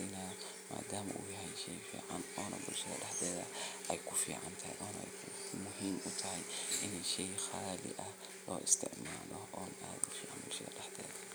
in laga qaybgeliyo diyaarinta beerta, iyagoo loo qaybiyo shaqooyinka sida nadiifinta dhulka, qodista godadka lagu beerayo, iyo diyaarinta abuurka la rabo in la beero. Intaa kadib, waa in la helo tababarro lagu baranayo sida ugu fiican ee loo beero geedaha ama dalagyada la doonayo. Tababarradan waxaa laga heli karaa khubaro deegaanka ah ama hay’adaha ka shaqeeya arrimaha beeraleynta.